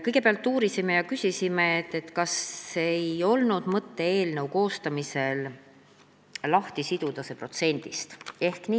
Kõigepealt uurisime ja küsisime, kas ei olnud eelnõu koostamise ajal mõtet see toetus protsendist lahti siduda.